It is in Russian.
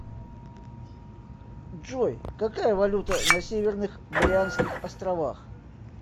джой какая валюта на северных марианских островах